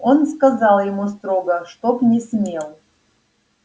он сказала ему строго чтоб не смел